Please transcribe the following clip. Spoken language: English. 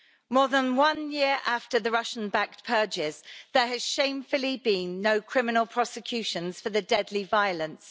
More than one year after the Russian-backed purges, there has shamefully been no criminal prosecutions for the deadly violence.